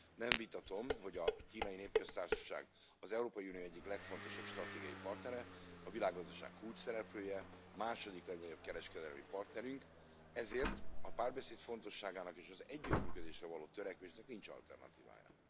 Nem vitatom, hogy a Kínai Népköztársaság az Európai Unió egyik legfontosabb stratégiai partnere, a világgazdaság kulcsszereplője, második legnagyobb kereskedelmi partnerünk, ezért a párbeszéd fontosságának és az együttműködésre való törekvésnek nincs alternatívája.